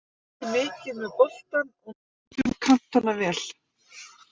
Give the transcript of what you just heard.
Við vorum mikið með boltann og nýttum kantana vel.